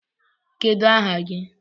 Kedu aha gi?